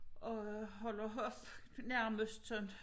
Og holder hof nærmest sådan